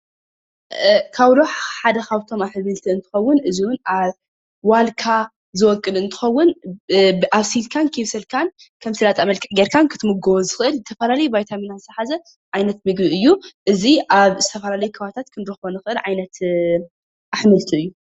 ካውሎ ሓደ ካብቶም ኣሕምልቲ እንትኸውን እዚ እውን ዋልካ ዝበቁል እንትኸውን ኣብሲልካን ከየብሰልካን ከም ስላጣ ጊይርካ ክትምገቡ እትኸእል ቫይታሚን ዝሓዘ ዓይነት ምግቢ እዩ። እዚ ኣብ ዝተፈላለዩ ክንረኸቦ እንኸእል ዓይነት ኣሕምልቲ እዩ።